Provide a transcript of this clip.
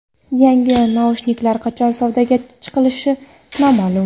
Yangi naushniklar qachon savdoga chiqishi noma’lum.